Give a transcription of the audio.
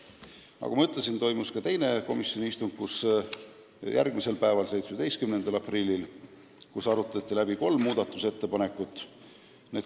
Nagu ma ütlesin, toimus ka teine komisjoni istung: 17. aprillil arutati läbi kolm muudatusettepanekut.